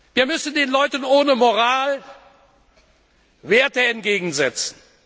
Wir müssen den Leuten ohne Moral Werte entgegensetzen.